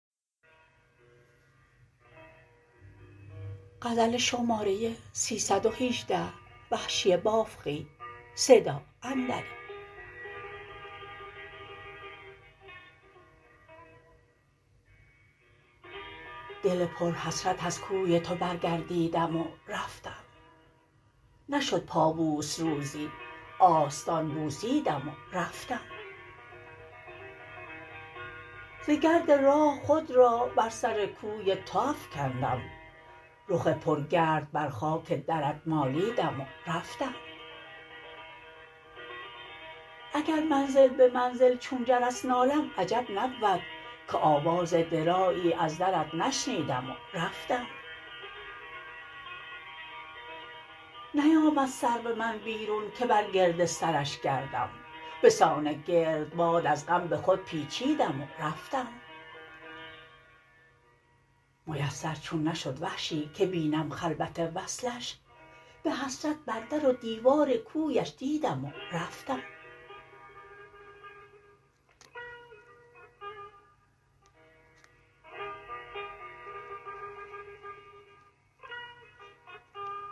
دل پر حسرت از کوی تو برگردیدم و رفتم نشد پابوس روزی آستان بوسیدم و رفتم ز گرد راه خود را بر سر کوی تو افکندم رخ پر گرد بر خاک درت مالیدم و رفتم اگر منزل به منزل چون جرس نالم عجب نبود که آواز درایی از درت نشنیدم و رفتم نیامد سرو من بیرون که بر گرد سرش گردم به سان گرد باد از غم به خود پیچیدم و رفتم میسر چون نشد وحشی که بینم خلوت وصلش به حسرت بر در و دیوار کویش دیدم و رفتم